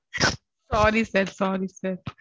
sorry sir sorry sir